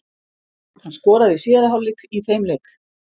Hann skoraði í síðari hálfleik í þeim leik.